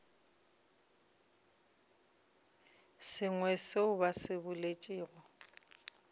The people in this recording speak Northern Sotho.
sengwe seo ba se boletšego